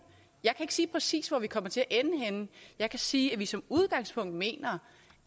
jeg kan ikke sige præcis hvor vi kommer til at ende henne jeg kan sige at vi som udgangspunkt mener